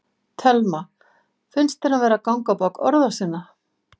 Telma: Finnst þér hann vera að ganga á bak orða sinna?